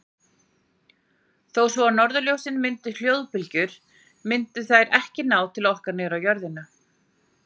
Þó svo að norðurljósin mynduðu hljóðbylgjur myndu þær ekki ná til okkar niður á jörðina.